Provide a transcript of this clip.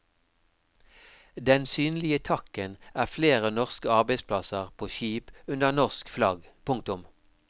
Den synlige takken er flere norske arbeidsplasser på skip under norsk flagg. punktum